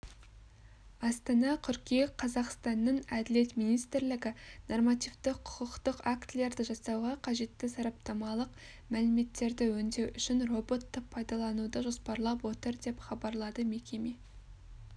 астана қыркүйек қазақстанның әділет министрлігі нормативті құқықтық актілерді жасауға қажетті сараптамалық мәліметтерді өңдеу үшін роботты пайдалануды жоспарлап отыр деп хабарлады мекеме